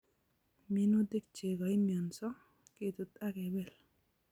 Minutik che kaimionso ketut akebel